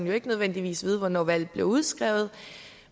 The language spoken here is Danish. jo ikke nødvendigvis vide hvornår valget bliver udskrevet